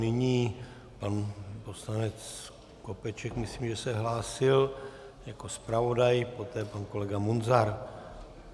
Nyní pan poslanec Skopeček, myslím, že se hlásil jako zpravodaj, poté pan kolega Munzar.